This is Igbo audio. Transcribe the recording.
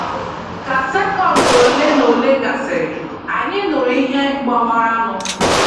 Ka sekọnd olenaole gasịrị, anyị nụrụ ihe gbawaranụ.